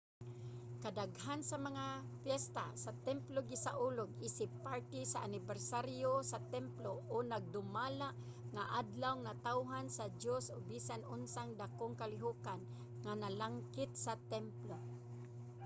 kadaghanan sa mga piyesta sa templo gisaulog isip parte sa anibersaryo sa templo o nagdumala nga adlawng natawhan sa diyos o bisan unsang dakong kalihokan nga nalangkit sa templo